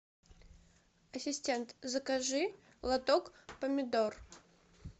ассистент закажи лоток помидор